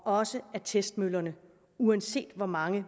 også af testmøllerne uanset hvor mange